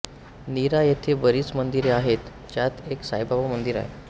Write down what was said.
नीरा येथे बरीच मंदिरे आहेत ज्यात एक साईबाबा मंदिर आहे